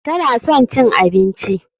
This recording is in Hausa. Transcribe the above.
Tana son cin abinci.